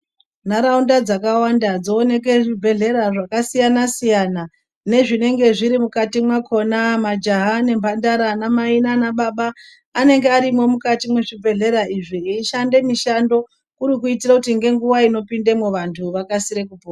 Nharaunda dzakawanda dzooneka zvibehlera zvakasiyana siyana zvinenge zviri mukati mwakona majaha nemhandara anamai nanababa anene arimwo mukati mwezvibhehlera izvi eyishande mishando kuri kuitira kuti ngenguwa inopinde vanthu vakasire kupona.